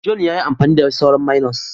John ya yi amfani da sauran " mayonnaise ".